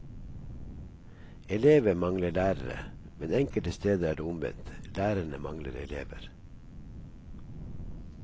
Elever mangler lærere, men enkelte steder er det omvendt, lærerne mangler elever.